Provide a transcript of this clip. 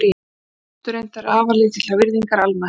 konur nutu reyndar afar lítillar virðingar almennt